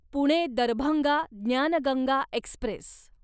Pune Darbhanga Gyan Ganga Express